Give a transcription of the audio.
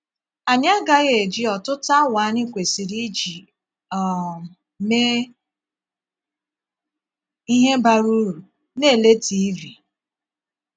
Ànyị agaghị eji ọtụtụ àwa anyị kwesịrị íji um mee íhé bara uru na - ele tiivi.